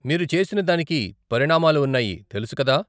మీరు చేసిన దానికి పరిణామాలు ఉన్నాయి తెలుసు కదా .